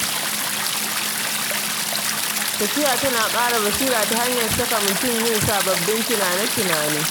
Tafiya tana ƙara basira ta hanyar saka mutum yin sababbin tunane-tunane.